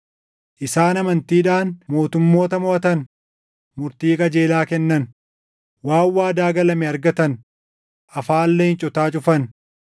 isaan amantiidhaan mootummoota moʼatan; murtii qajeelaa kennan; waan waadaa galame argatan; afaan leencotaa cufan;